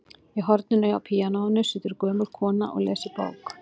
Í horninu hjá píanóinu situr gömul kona og les í bók.